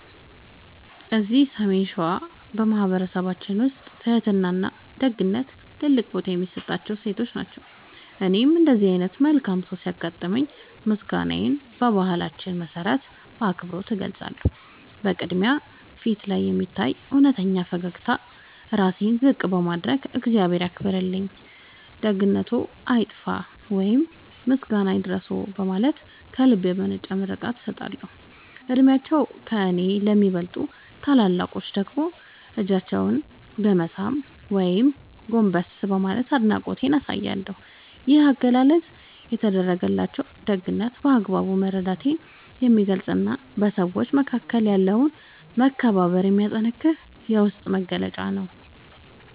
እዚህ ሰሜን ሸዋ በማኅበረሰባችን ውስጥ ትሕትናና ደግነት ትልቅ ቦታ የሚሰጣቸው እሴቶች ናቸው። እኔም እንዲህ ዓይነት መልካም ሰው ሲያጋጥመኝ ምስጋናዬን በባህላችን መሠረት በአክብሮት እገልጻለሁ። በቅድሚያ፣ ፊቴ ላይ በሚታይ እውነተኛ ፈገግታና ራሴን ዝቅ በማድረግ "እግዚአብሔር ያክብርልኝ፣ ደግነትዎ አይጥፋ" ወይም "ምስጋና ይድረስዎ" በማለት ከልብ የመነጨ ምርቃቴን እሰጣለሁ። ዕድሜያቸው ከእኔ ለሚበልጡ ታላላቆች ደግሞ እጃቸውን በመሳም ወይም ጎንበስ በማለት አድናቆቴን አሳያለሁ። ይህ አገላለጽ የተደረገልኝን ደግነት በአግባቡ መረዳቴን የሚገልጽና በሰዎች መካከል ያለውን መከባበር የሚያጠነክር የውስጤ መግለጫ ነው።